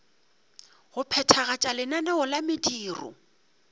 go phethagatša lenaneo la mediro